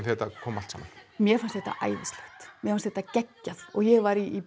þetta kom allt saman mér fannst þetta æðislegt mér fannst þetta geggjað og ég var í